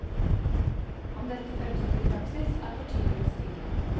Om dette følges opp i praksis, er for tidlig å si.